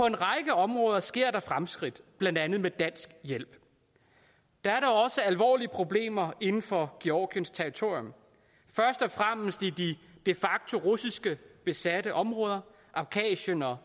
en række områder sker der fremskridt blandt andet med dansk hjælp der er dog også alvorlige problemer inden for georgiens territorium først og fremmest i de de facto russisk besatte områder abkhasien og